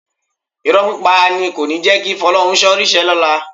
Irọ́ pípa ni kò ní jẹ́ kí Fọ́lọ́runṣọ́ ríṣẹ́ lọ́la